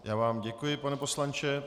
Já vám děkuji, pane poslanče.